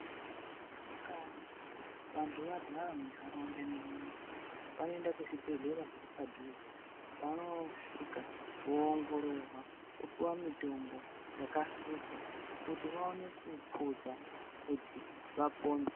Kana vantu varwara muntaraunda mwedu munomu ,vanoenda kuzvibhedhlera zviri padhuze, vanoosvika voongororwa, vopiwa mitombo yakahluzwa, kuti vaone kuphuza ,kuti vapone.